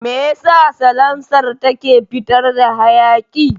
Meyasa salansar take fitar da hayaƙi?